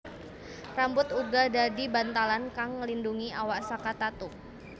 Rambut uga dadi bantalan kang nglindungi awak saka tatu